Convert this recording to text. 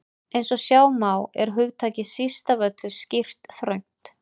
Eins og sjá má er hugtakið síst af öllu skýrt þröngt.